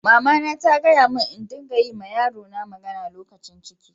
Mama na ta gaya mun n'dinga yi ma yaro na magana lokacin ciki.